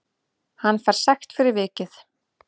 Hann fær sekt fyrir vikið